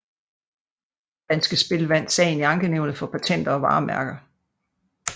Danske Spil vandt sagen i Ankenævnet for Patenter og Varemærker